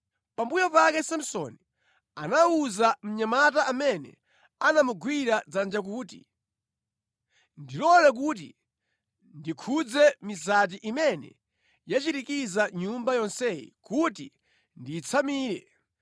Pambuyo pake Samsoni anawuza mnyamata amene anamugwira dzanja kuti, “Ndilole kuti ndikhudze mizati imene yachirikiza nyumba yonseyi kuti ndiyitsamire.”